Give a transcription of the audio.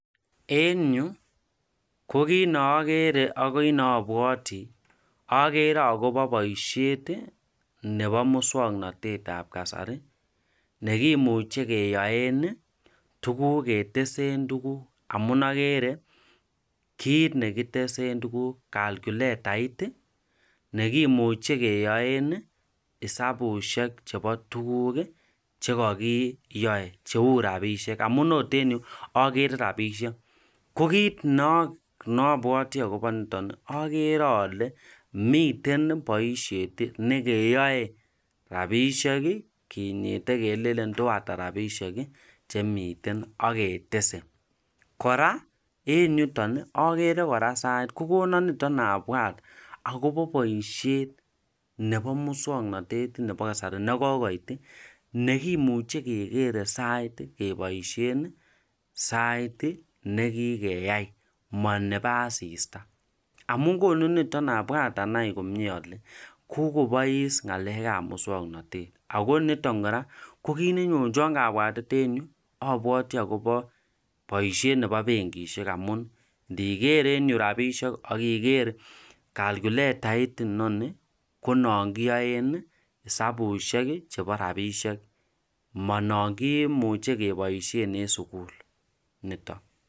en yu ko kiit neogere ak agoi neobwoti ogere ogaobo boishet nebo muswoknotete ab kasari negimuche yoen tuguuk ketesen tuguk amuun ogere kiit negitesen tuguk, calculetait iih negimuche keyoen iih hesabushek chebo tuguk iih chegokiyoe cheuu rabishek, amuun oot en yu ogere rabishek, ko kiit neobwoti agobo niton iih ogere ole miten boishet negeyoe rabishek iih kinyite keleln toata rabishek iih chemiten ak ketese, kora en yuton ogere kora sait kogonon niton abwaat agobo boishet nebo muswoknotet nebo kasari negogoit iih negemuche kegere sait keboishen sait iih negigeyai mo nebo asisita, amun konu niton abwat anai komyee ole kogobois ngaleek ab muswoknotet ago niton kogiit nenyonchon kabwatet en yu obwoti agobo boishet nebo bengishek, amuun nigeer en yu rabishek ak igeer calculetait inoni ko non kiyoen iih hesabushek chebo rabishek mononkimuche keboishen en sugul niton.